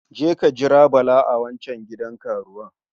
Je ka jira Bala a wancan gidan karuwai.